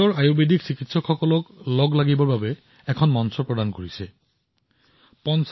ইয়াৰ প্ৰযুক্তিচালিত প্লেটফৰ্মে সমগ্ৰ বিশ্বৰ আয়ুৰ্বেদ চিকিৎসকসকলক পোনপটীয়াকৈ মানুহৰ সৈতে সংযোগ কৰে